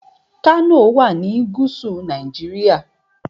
Kano wà ní gúúsù Nàìjíríà.